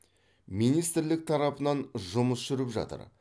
министрлік тарапынан жұмыс жүріп жатыр